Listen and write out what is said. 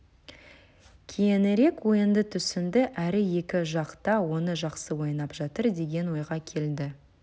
кейінірек ойынды түсінді әрі екі жақ та оны жақсы ойнап жатыр деген ойға келді